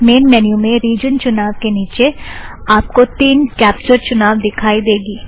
main menu में region चुनाव के निचे आप को तीन कॅप्चर चुनाव दिखाई देगी